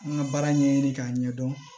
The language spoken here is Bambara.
N ka baara ɲɛɲini k'a ɲɛdɔn